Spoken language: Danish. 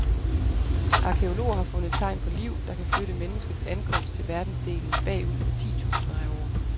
Arkæologer har fundet tegn på liv, der kan flytte menneskets ankomst til verdensdelen bagud med titusinder af år.